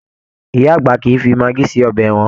Ìyá àgbà kìí fí magí sí ọbẹ wọn